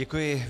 Děkuji.